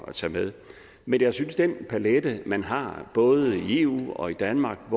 at tage med men jeg synes den palet man har både i eu og i danmark